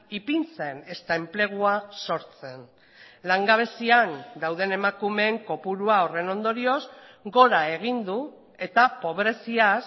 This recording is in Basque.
ipintzen ezta enplegua sortzen langabezian dauden emakumeen kopurua horren ondorioz gora egin du eta pobreziaz